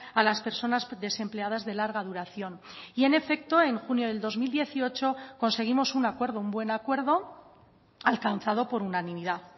a las personas desempleadas de larga duración y en efecto en junio del dos mil dieciocho conseguimos un acuerdo un buen acuerdo alcanzado por unanimidad